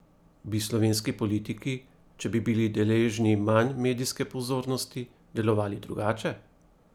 Bi slovenski politiki, če bi bili deležni manj medijske pozornosti, delovali drugače?